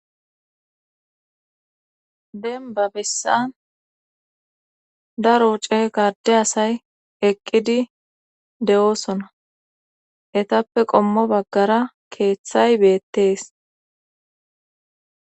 Denba bessan daro ce gadde asay eqqidi de'oosona etappe qommo baggara keeththay beettees.